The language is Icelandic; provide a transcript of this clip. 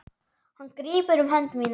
Hann grípur um hönd mína.